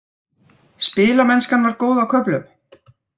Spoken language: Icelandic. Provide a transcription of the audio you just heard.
Spilamennskan var góð á köflum.